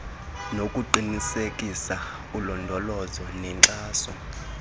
nokuqinisekisa ulondolozo nenkxaso